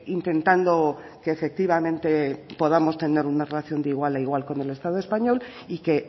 intentando que efectivamente podamos tener una relación de igual a igual con el estado español y que